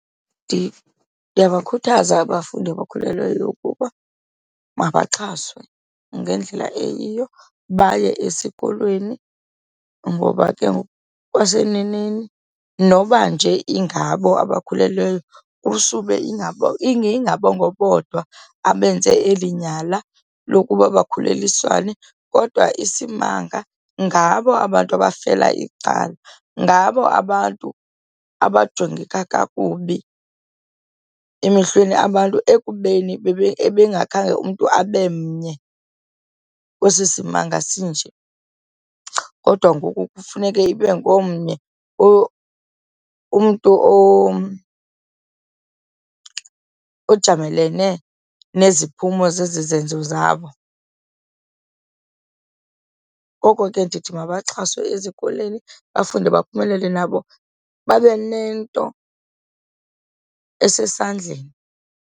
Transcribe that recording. Ndiyabakhuthaza abafundi abakhulelweyo ukuba mabamxhaswe ngendlela eyiyo, baye esikolweni. Ngoba ke ngokwaseneneni noba nje ingabo abakhulelweyo kusube ingengabo bodwa abenze eli nyala lokuba bakhulelwiswane kodwa isimanga ngabo abantu abafela icala. Ngabo abantu abajongeka kakubi emehlweni abantu ekubeni ebengakhange umntu abe mnye kwesi simalunga sinje kodwa ngoku kufuneke ibe ngomnye umntu ojamelene neziphumo zezi zenzo zabo. Ngoko ke ndithi mabaxhaswe ezikolweni, bafunde baphumelele nabo babe nento esesandleni.